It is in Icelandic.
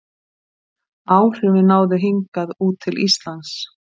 áhrifin náðu hingað út til íslands